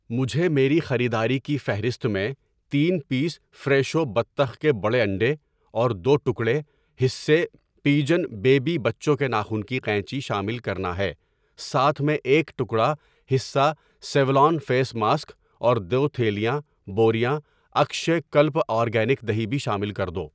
مجھے میری خریداری کی فہرست میں تین پیس فریشو بطخ کے بڑے انڈے اور دو ٹکڑے, حصے پیجن بیبی بچو کے ناخون کی قینچی شامل کرنا ہے۔ ساتھ میں ایک ٹکڑا, حصہ سیولان فیس ماسک اور دو تھیلیاں, بوریاں اکشےکلپا آرگینک دہی بھی شامل کر دو۔